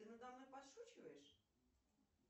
ты надо мной подшучиваешь